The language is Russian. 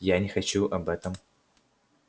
я не хочу об этом